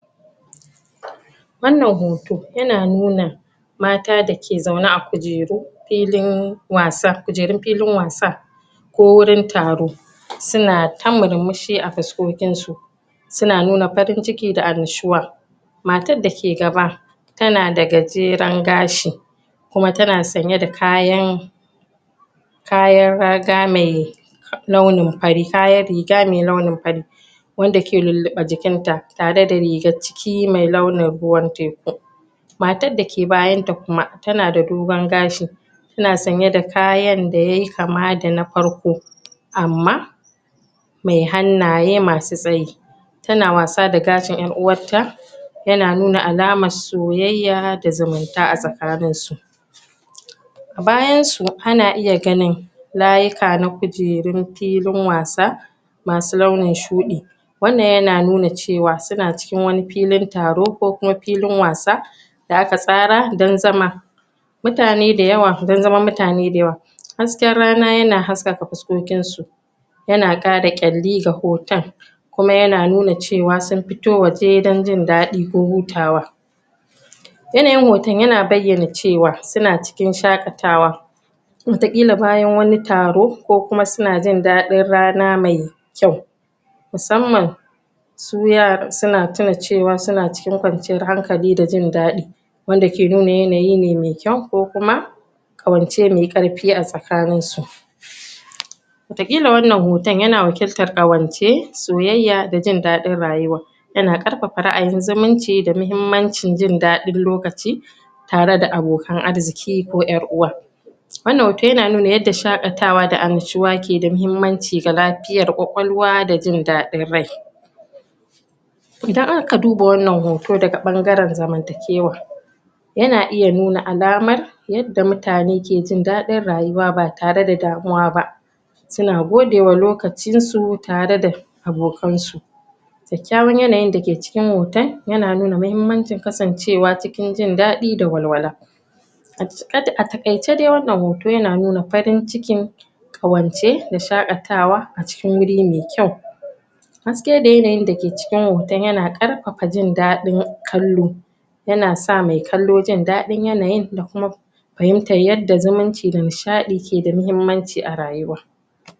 Wannan hoto yana nuna mata dake zaune a kujeru filin wasa, kujerun filin wasa ko wurin taro suna ta murmushi a fuskokin su suna nuna farin ciki da matan dake gaba tana da gajeren gashi kuma tana sanye da kayan kayan raga mai nauyin fari, kayan riga mai nauyin fari wanda ke luluba jikin ta, tare da rigan ciki mai ruwan teku. Matan dake bayan ta kuma tana da dogon gashi tana sanye da kayan da ya yi kama da na farko amma mai hannaye masu sayi tana wasa da gashin yan uwar ta yana nuna alaman soyyaya da zumunta a tsakanin su. bayan su ana iya ganin layuka na kujerun filin wasa masu launin shudi wannan yana nuna cewa suna cikin wane filin taro ko kuma filin wasa, da aka tsara don zama mutane da yawa, don zaman mutanai da yawa